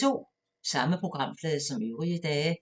Samme programflade som øvrige dage